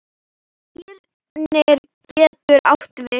Skírnir getur átt við